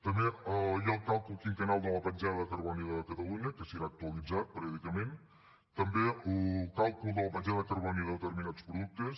també hi ha el càlcul quinquennal de la petjada de carboni de catalunya que serà actualitzat periòdicament també el càlcul de la petjada de carboni de determinats productes